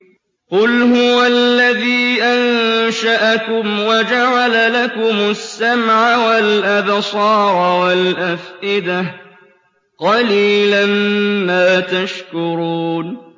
قُلْ هُوَ الَّذِي أَنشَأَكُمْ وَجَعَلَ لَكُمُ السَّمْعَ وَالْأَبْصَارَ وَالْأَفْئِدَةَ ۖ قَلِيلًا مَّا تَشْكُرُونَ